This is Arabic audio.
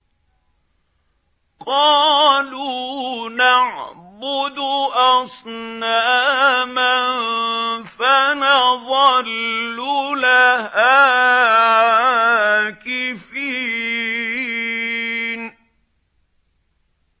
قَالُوا نَعْبُدُ أَصْنَامًا فَنَظَلُّ لَهَا عَاكِفِينَ